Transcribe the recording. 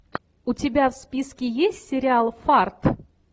у тебя в списке есть сериал фарт